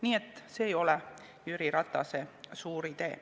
Nii et see ei ole Jüri Ratase suur idee.